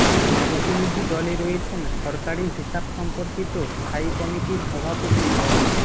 প্রতিনিধি দলে রয়েছেন সরকারি হিসাব সম্পর্কিত স্থায়ী কমিটির সভাপতি ড